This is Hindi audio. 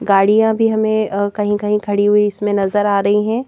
गाड़ियां भी हमें कहीं कहीं खड़ी हुई इसमें नजर आ रही हैं।